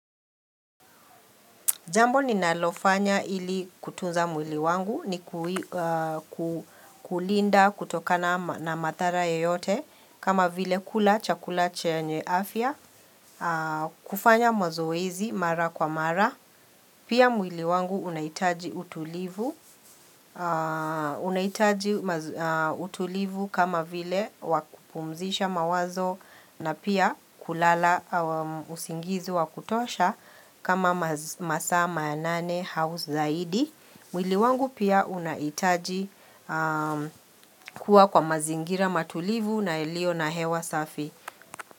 Jambo ninalofanya ili kutunza mwili wangu ni kulinda kutokana na madhara yeyote kama vile kula chakula chenye afya, kufanya mazoezi mara kwa mara. Pia mwili wangu unahitaji utulivu kama vile wa kupumzisha mawazo na pia kulala usingizi wa kutosha kama masaa manane au zaidi. Mwili wangu pia unahitaji kuwa kwa mazingira matulivu na yalio na hewa safi.